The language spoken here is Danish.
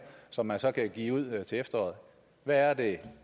som man så kan give ud til efteråret hvad er det